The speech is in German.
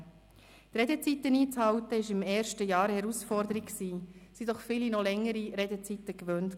Die Redezeiten einzuhalten, war im ersten Jahr eine Herausforderung, waren doch viele die längeren Redezeiten gewohnt.